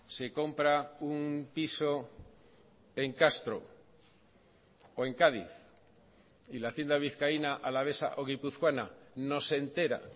se compra un piso en castro o en cádiz y la hacienda vizcaína alavesa o guipuzcoana no se entera